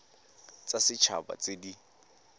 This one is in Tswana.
tsa set haba tse di